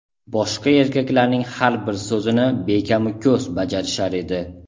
boshqa erkaklarning har bir so‘zini bekamu ko‘st bajarishar edi.